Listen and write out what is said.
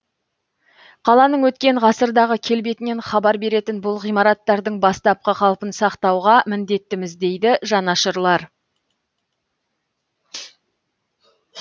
қаланың өткен ғасырдағы келбетінен хабар беретін бұл ғимараттардың бастапқы қалпын сақтауға міндеттіміз дейді жанашырлар